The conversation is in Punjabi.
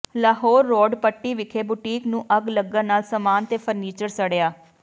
ਲਾਹੌਰ ਰੋਡ ਪੱਟੀ ਵਿਖੇ ਬੁਟੀਕ ਨੂੰ ਅੱਗ ਲੱਗਣ ਨਾਲ ਸਮਾਨ ਤੇ ਫ਼ਰਨੀਚਰ ਸੜਿਆ